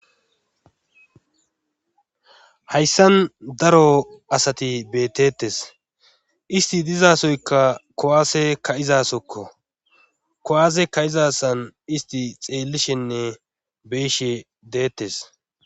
hayssan daro asati beetettes isti dizasoyka kowaase ka7izasokko kowaase ka7izasan isti xeellishenne be'ishe deettes